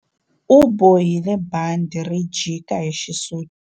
U bohile bandhi ri jika hi xisuti.